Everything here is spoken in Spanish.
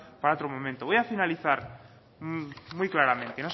para otro momento voy a finalizar muy claramente